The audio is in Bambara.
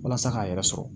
Walasa k'a yɛrɛ sɔrɔ